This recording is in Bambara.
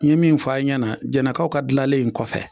N ye min fɔ a' ɲɛna Jɛnɛkaw ka dilalen in kɔfɛ